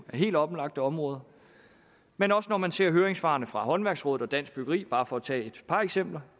helt oplagte områder men også når man ser høringssvarene fra håndværksrådet og dansk byggeri bare for at tage et par eksempler